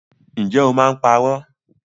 Ǹjẹ́ o máa ń parọ́?